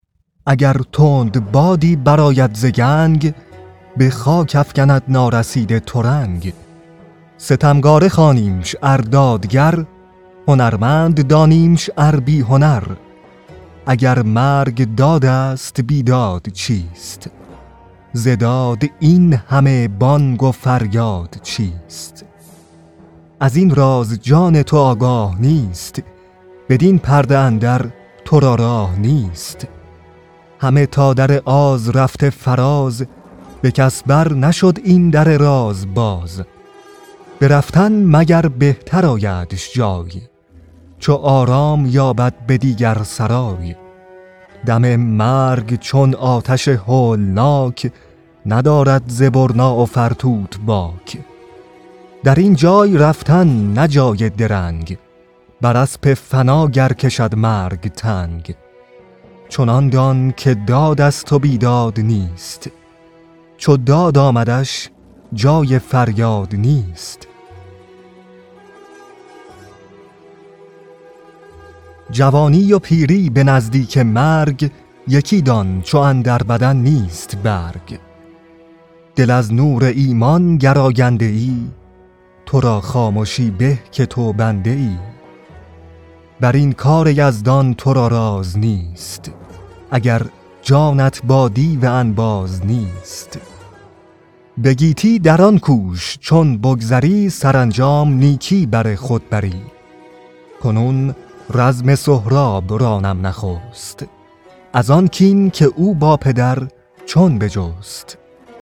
اگر تندبادی براید ز کنج بخاک افگند نارسیده ترنج ستمکاره خوانیمش ار دادگر هنرمند دانیمش ار بی هنر اگر مرگ دادست بیداد چیست ز داد این همه بانگ و فریاد چیست ازین راز جان تو آگاه نیست بدین پرده اندر ترا راه نیست همه تا در آز رفته فراز به کس بر نشد این در راز باز برفتن مگر بهتر آیدش جای چو آرام یابد به دیگر سرای دم مرگ چون آتش هولناک ندارد ز برنا و فرتوت باک درین جای رفتن نه جای درنگ بر اسپ فنا گر کشد مرگ تنگ چنان دان که دادست و بیداد نیست چو داد آمدش جای فریاد نیست جوانی و پیری به نزدیک مرگ یکی دان چو اندر بدن نیست برگ دل از نور ایمان گر آگنده ای ترا خامشی به که تو بنده ای برین کار یزدان ترا راز نیست اگر جانت با دیو انباز نیست به گیتی دران کوش چون بگذری سرانجام نیکی بر خود بری کنون رزم سهراب رانم نخست ازان کین که او با پدر چون بجست